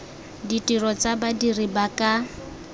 ditiro tsa badiri ba ka